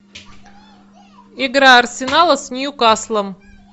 игра арсенала с ньюкаслом